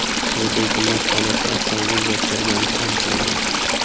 Haydovchi mast holatda avtomobil boshqargani aniqlangan.